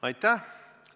Aitäh!